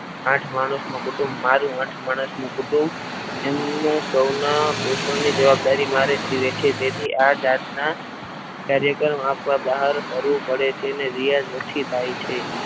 આઠ માણસનું કુટુંબ મારું આઠ માણસનું કુટુંબ એમને સૌના સૌની જવાબદારી મારે લીધી છે તેથી આ જાતના કાર્યક્રમ આપવા બહાર ફરવું પડે છે અને રિયા જ ઓછી થાય છે.